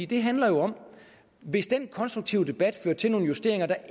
det handler jo om at hvis den konstruktive debat fører til nogle justeringer der